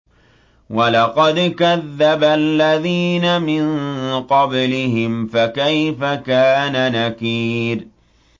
وَلَقَدْ كَذَّبَ الَّذِينَ مِن قَبْلِهِمْ فَكَيْفَ كَانَ نَكِيرِ